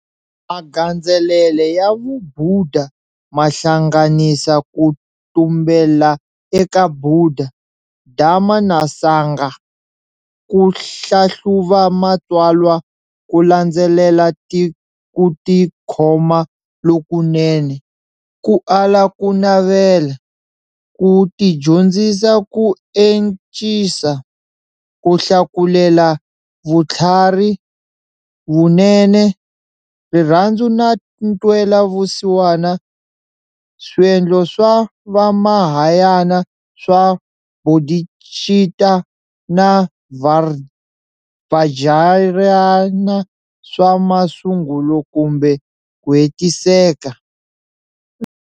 Magandzelele ya vubhuda mahlanganisa ku tumbela eka bhuda, Dharma na Sangha, ku hlahluva matswalwa, kulandzelela kutikhoma lokunene, ku ala ku navela, ku tidyondzisa ku encisa, kuhlakulela vuthlarhi, vunene, rirhandzu na ntwela vusiwana, Swiendlo swa vaMahayana swa bodhicitta na Vajrayana swa masungulo kumbe kuhetiseka.